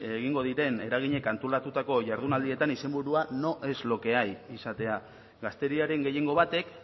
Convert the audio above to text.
egingo diren eraginek antolatutako jardunaldietan izenburua no es lo que hay izatea gazteriaren gehiengo batek